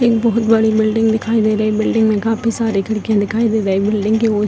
एक बहुत बड़ी बिल्डिंग दिखाई दे रही है | बिल्डिंग में काफी सारी खिड़की दिखाई दे रही बिल्डिंग की और --